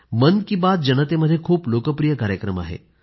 मन की बात जनतेमध्ये खूप लोकप्रिय कार्यक्रम आहे